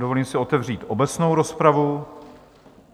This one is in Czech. Dovolím si otevřít obecnou rozpravu.